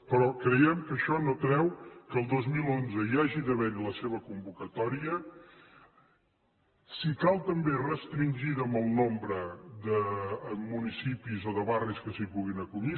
però creiem que això no treu que el dos mil onze hi hagi d’haver la seva convocatòria si cal també restringida en el nombre de municipis o de barris que s’hi puguin acollir